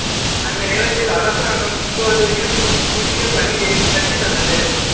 அந்த நிலத்தில் அரசாங்கம் இப்போது இருக்கும் புதிய பள்ளியைக் கட்டித் தந்தது